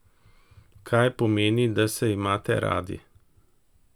Kaj pomeni, da se imate radi?